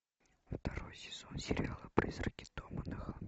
второй сезон сериала призраки дома на холме